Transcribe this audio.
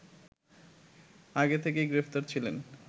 আগে থেকেই গ্রেফতার ছিলেন